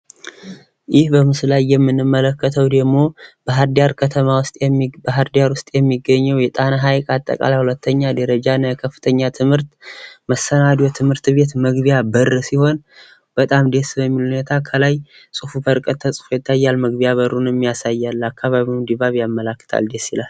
ይህ ምስል ላይ የምንመለከተው ደግሞ ባህር ዳር ውስጥ የሚገኝ የጣና ሐይቅ አጠቃላይ የሁለተኛ ደረጃ እና መሰናዶ ትምህርት ቤት መግቢያ ሲሆን በጣም ደስ በሚል ሁኔታ ከላይ ፅሁፉ ከርቀት ይታያል ።መግቢያ በሩን የሚያሳይ ነው። የአካባቢውን ድባብ ያሳያል ፤ደስ ይላል ።